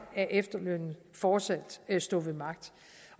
af efterlønnen fortsat stå ved magt